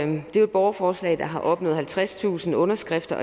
det er et borgerforslag der har opnået halvtredstusind underskrifter